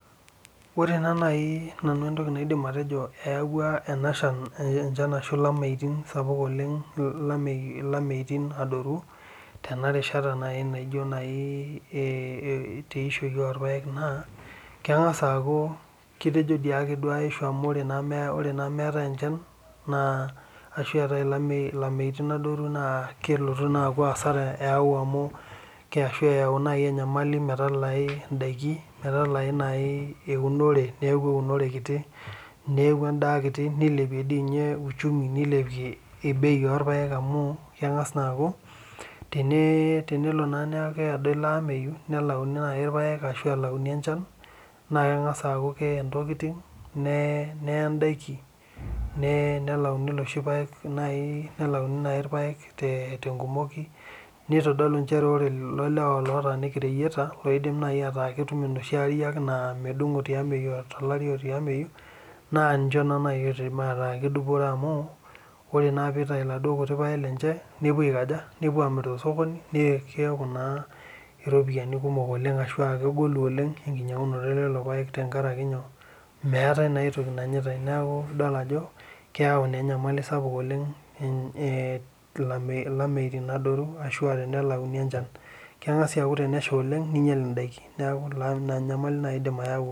Ore ena nai enabanidim atejo eyawua lameitin adoru tenarishata naijo nai tenishoi orpaek na kerangasa ajobaishu amu mwetae enchan keyau enyamali meralai ndakin metalai eunorw neaku endaa kiti nilipie uchumi nilepie bei orpaek amu teneaku nai kelauni irpaek ashu elauni enchanbna kengasa aaku kee ntokitin neye ndakini neaku ore loshi lewa otii reyeta la ketum enoshi aare nemedungo tiameyu tolari otiameyu na ninche nai oidim ataa kedupore amu ore pepuo aitau tolchambai lenye nepuo amir egol amu keaku naa enkinyangunoto ololopaek amueetae naa entoki nanyitae na keyau ilameitin adoru ashu tenelauni enchan kengas aaku temeshaoleng na kinyal endaa